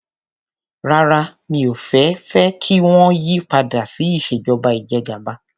Rárá mi ò fẹ́ fẹ́ kí wọ́n yí padà sí ìṣèjọba ìjẹgàba.